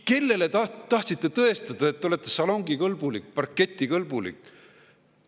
Kellele te tahtsite tõestada, et te olete salongikõlbulik, parketikõlbulik?